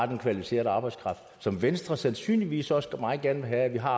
den kvalificerede arbejdskraft som venstre sandsynligvis også meget gerne vil have at vi har